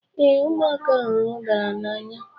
Ee, ụmụaka hụrụ udara n'anya